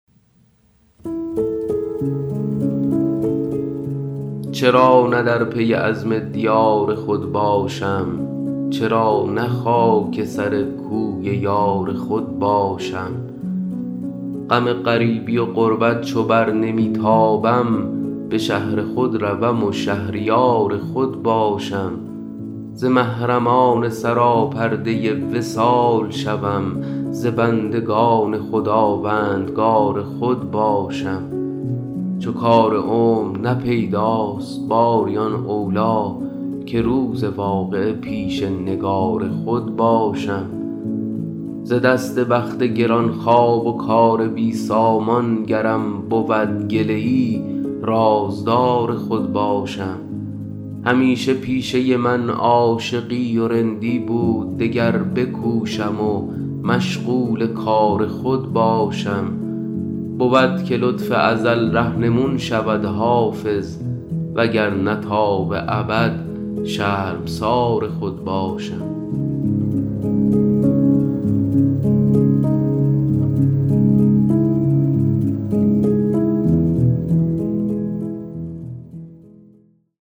چرا نه در پی عزم دیار خود باشم چرا نه خاک سر کوی یار خود باشم غم غریبی و غربت چو بر نمی تابم به شهر خود روم و شهریار خود باشم ز محرمان سراپرده وصال شوم ز بندگان خداوندگار خود باشم چو کار عمر نه پیداست باری آن اولی که روز واقعه پیش نگار خود باشم ز دست بخت گران خواب و کار بی سامان گرم بود گله ای رازدار خود باشم همیشه پیشه من عاشقی و رندی بود دگر بکوشم و مشغول کار خود باشم بود که لطف ازل رهنمون شود حافظ وگرنه تا به ابد شرمسار خود باشم